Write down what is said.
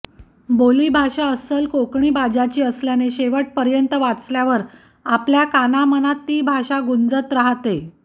बोली भाषा अस्सल कोकणी बाजाची असल्याने शेवटपर्यंत वाचल्यावर आपल्या कानामनात ती भाषा गुंजत राहते